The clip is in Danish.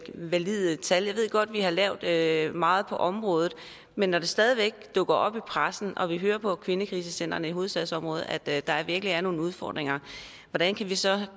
valide tal jeg ved godt vi har lavet lavet meget på området men når det stadig væk dukker op i pressen og vi hører på kvindekrisecentrene i hovedstadsområdet at der der virkelig er nogle udfordringer hvordan kan vi så